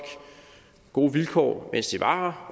gode vilkår mens de var